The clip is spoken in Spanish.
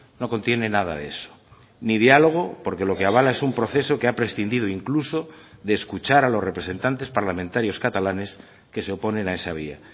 no contiene nada de eso ni diálogo porque lo que avala es un proceso que ha prescindido incluso de escuchar a los representantes parlamentarios catalanes que se oponen a esa vía